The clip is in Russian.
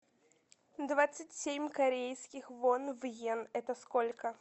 двадцать семь корейских вон в йен это сколько